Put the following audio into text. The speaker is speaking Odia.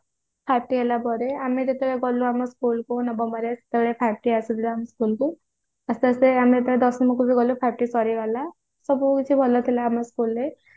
five T ହେଲା ପରେ ଆମେ ଯେତେବେଳେ ଗଲୁ ଆମ school କୁ ନବମରେ ସେତେବେଳେ five T ଆସିଥିଲା ଆମ school କୁ ଆସ୍ତେ ଆସ୍ତେ ଆମେ ଯେତେବେଳେ ଦଶମ କୁ ଗଲୁ five T ସରିଗଲା ସବୁ ଜିନିଷ ଭଲ ଥିଲା ଆମ school ରେ